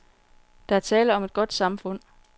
Der er tale om et godt samfund.